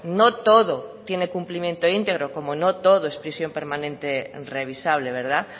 no todo tiene cumplimiento integro como no todo es prisión permanente revisable verdad